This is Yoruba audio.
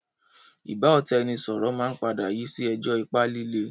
ìbáọ̀tàẹnisọọ̀rọ̀ máa ń padà yii si ẹjọ́ ipá lílé